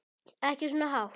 Ekki svona hátt.